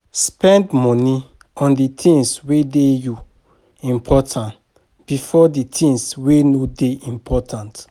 Spend money on di things wey dey you important first before di things wey no dey important